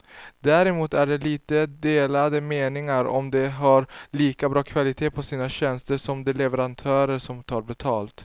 Däremot är det lite delade meningar om de har lika bra kvalitet på sina tjänster som de leverantörer som tar betalt.